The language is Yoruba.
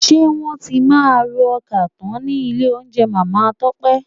Ṣé wọ́n tí máa ro ọkà tọ́ nílé oúnjẹ Màmá Tọ́pẹ́?